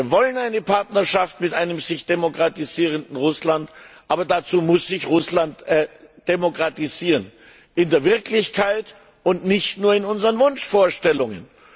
Wir wollen eine Partnerschaft mit einem sich demokratisierenden Russland, aber dazu muss sich Russland demokratisieren, in der Wirklichkeit und nicht nur in unseren Wunschvorstellungen.